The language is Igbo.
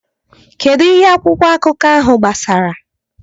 Kedu ihe akwụkwọ akụkọ ahụ gbasara?